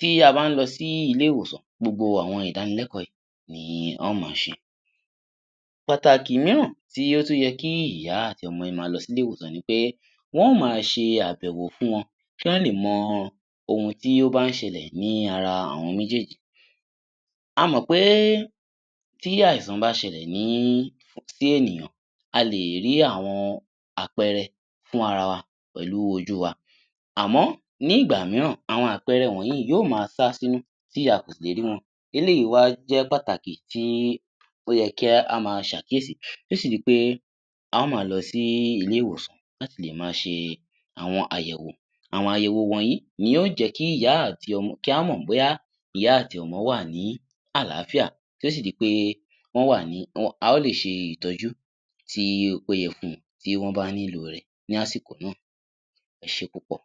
Tí a bá ń lọ sí ilé-ìwòsàn, gbogbo àwọn ìdánilẹ́kọ̀ó yìí ni a ó máa ṣe. Pàtàkí mìíràn tí ó tún yẹ kí ìyá àti ọmọ yẹn máa lọ sí ilé-ìwòsàn ni pé, wọ́n ó máa ṣe àbẹ̀wò fún wọn, kí wọ́n lè mọ ohun tí ó bá ń ṣẹlẹ̀ ní ara àwọn méjéèjì. A mọ̀ pé tí àìsàn bá ṣẹlẹ̀ ní, sí ènìyàn, a lè rí àwọn àpẹẹrẹ fún ara wa pẹ̀lú ojú wa. Àmọ́, ní ìgbà mìíràn, àwọn àpẹẹrẹ wọ̀nyìí yóó máa sá sínú tí a kò sì lè rí wọn. Eléyìí wá jẹ́ pàtàkì tí ó yẹ kí á máa ṣàkíyèsí tí ó sì di pé a ó máa lọ sí ilé-ìwòsàn láti lè máa ṣe àwọn àyẹ̀wò. Àwọn àyẹ̀wò wọ̀nyí ni yóó jẹ́ kí ìyá àti ọmọ, kí a mọ̀ bóyá ìyá àti ọmọ wà ní àlàáfíà tí ó sì di pé wọ́n wà ní a ó lè ṣe ìtọ́jú tí ó péye fún wọn tí wọ́n bá nílò rẹ̀ ní àsìkò náà. Ẹ ṣé púpọ̀!